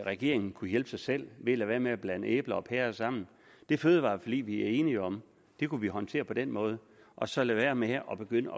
regeringen kunne hjælpe sig selv ved at lade være med at blande æbler og pærer sammen det fødevareforlig vi er enige om kunne vi håndtere på den måde og så lade være med at begynde